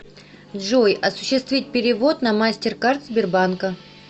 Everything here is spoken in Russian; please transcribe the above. джой осуществить перевод на мастеркард сбербанка